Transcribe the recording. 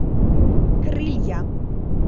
крылья